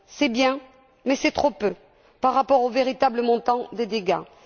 C'est bien mais c'est trop peu par rapport aux véritables montants des dégâts.